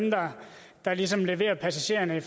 der ligesom leverer passagererne